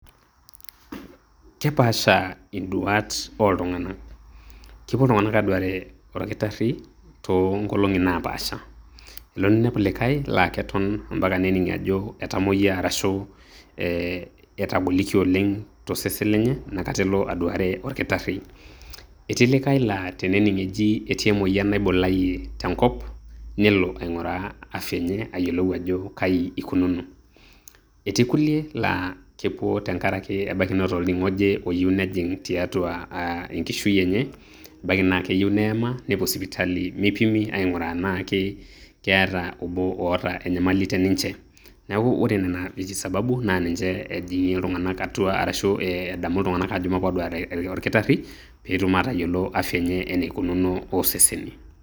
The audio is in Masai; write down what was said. Kepaasha iduat iltung'anak, kepuo iltung'anak aaduare olkitarri tongolong'i napaasha elo ninepu likae laa keton ampaka nening' ajo etamoyia ashu ee etagolikio oleng' tosesen lenye Ina Kata elo aduare olkitarri etii likae laa tenening' ajo etii emoyian naibulayie tenkop nelo aing'uraa ayiolou ajo kaji eikununo etii kulie laa kepuo tengaraki Neeta olning'o oje oyieu nejig' tiatua aa enkishui enye ebaki naa keyieu neyema nepuo sipitali meipimi aing'uraa tenaa keeta abo oata enyamali teninche, neaku ore Nena esababu naa ninche ejing'ie iltung'anak atua arashu ee edamu iltung'anak aajo maape aduare olkitarri peetum atayiolo as venyee naikununo osesen.